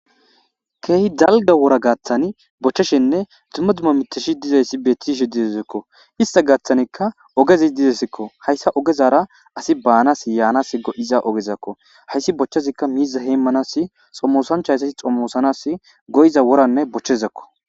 keehi dalga wora gaaththani bochcheshenne tumma duma miteshi dizayssi bettishe didezekko ista gaaththanikka ogezi didesikko hayssa ogezara asi baanas yaanas go7iza ogezakko hayssi bochchezikka miiza heymmanas xommosancha hayssasi xommoosanas goyiza woranne bochchezakko